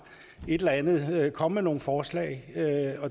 et eller andet med kom med nogle forslag